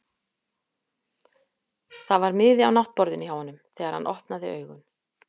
Það var miði á náttborðinu hjá honum þegar hann opnaði augun.